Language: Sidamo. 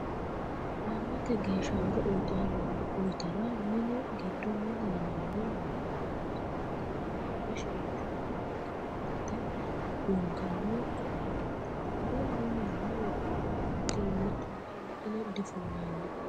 Yannate geeshsha horo uyittara mini giddo milli yinanni woyte horonsirate loonse shiqqinshonni lekkate lunkanni koatteti tene minella wodhinanni ikkinna tuta wodhine difullanni.